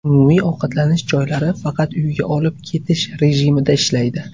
Umumiy ovqatlanish joylari faqat uyga olib ketish rejimida ishlaydi.